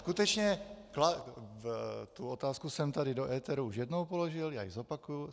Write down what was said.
Skutečně, tu otázku jsem tady do éteru už jednou položil, já ji zopakuji.